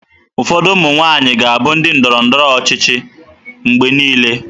Ụfọdụ ụmụ nwaanyị ga-abụ ndị ndọrọ ndọrọ ọchịchị mgbe niile.